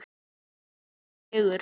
Naumur sigur.